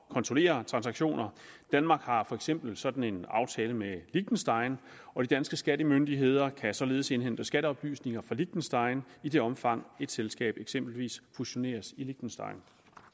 kontrollere transaktioner danmark har for eksempel sådan en aftale med liechtenstein og de danske skattemyndigheder kan således indhente skatteoplysninger fra liechtenstein i det omfang et selskab eksempelvis fusioneres i liechtenstein